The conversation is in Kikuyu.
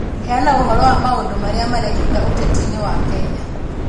Heana ũhoro wa maũndũ marĩa marekĩka ũteti-inĩ wa Kenya.